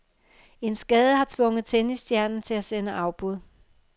En skade har tvunget tennisstjernen til at sende afbud.